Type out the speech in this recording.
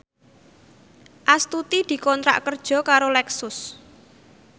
Astuti dikontrak kerja karo Lexus